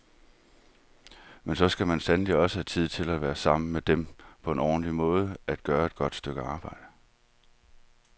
Men så skal man sandelig også have tid til at være sammen med dem på en ordentlig måde, at gøre et godt stykke arbejde.